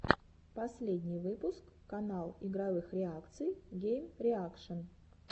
последний выпуск канал игровых реакций геймреакшн